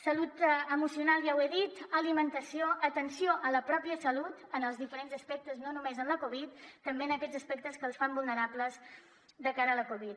salut emocional ja ho he dit alimentació atenció a la pròpia salut en els diferents aspectes no només en la covid també en aquests aspectes que els fan vulnerables de cara a la covid